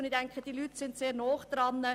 Diese Leute sind sehr nahe am Thema dran.